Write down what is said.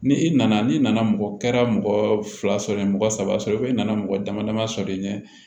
Ni i nana n'i nana mɔgɔ kɛra mɔgɔ fila sɔrɔ yen mɔgɔ saba i nana mɔgɔ damadama sɔrɔ i ɲɛ